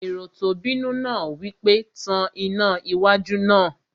Èrò tó bínú náà wí pé, "Tan iná wájú náà!"